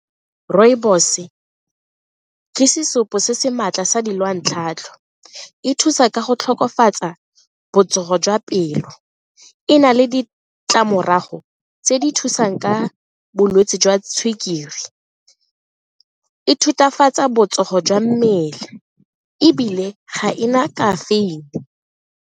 Rooibos ke sesupo se se maatla sa e thusa ka go tokafatsa botsogo jwa pelo, e na le ditlamorago go tse di thusang ka bolwetse jwa sukiri, e thutafatsa botsogo jwa mmele ebile ga e na kafeine.